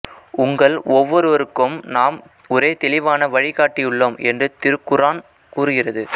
உங்கள் ஒவ்வொருவருக்கும் நாம் ஒரே தெளிவான வழிகாட்டியுள்ளோம் என்று திருகுர்ஆன் கூறுகிறது